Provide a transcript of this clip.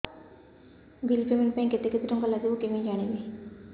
bill payment ପାଇଁ କେତେ କେତେ ଟଙ୍କା ଲାଗିବ କେମିତି ଜାଣିବି